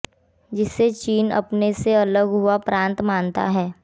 जिसे चीन अपने से अलग हुआ प्रांत मानता है